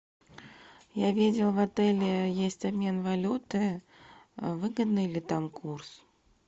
я видел в отеле есть обмен валюты выгодный ли там курс